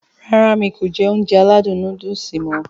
Rárá mi kò jẹ Ounjẹ aládùn nóódùsì mọ̀